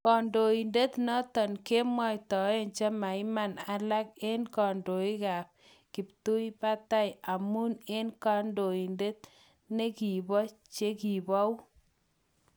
Kondoidet noton kemwaitaen chemaiman alak eng kondoik kap kiptubatai amun eng kodoinatet nekibo chekibou.